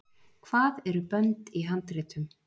Hvað eru bönd í handritum?